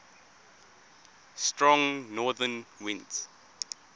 strong northern winds